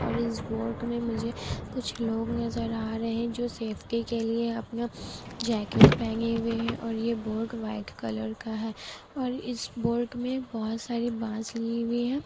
और इस बोट मे मुझे कुछ लोग नजर आ रहे हैं जो सेफ़्टी के लिए अपना जैकेट पहने हुए हैं । और ये बोट व्हाइट कलर का है। और इस बोट मे बोहोत सारे बांस लिए हुए है।